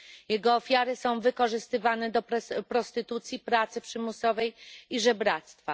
Jego ofiary są wykorzystywane do prostytucji, pracy przymusowej i żebractwa.